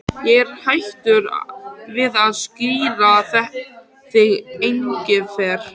Ég er hættur við að skíra þig Engifer.